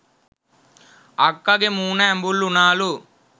අක්කගෙ මූණ ඇඹුල් උනාලු